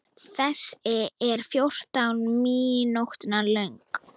Þessi er fjórtán mínútna löng.